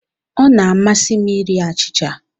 Ọ na-amasị m iri achịcha.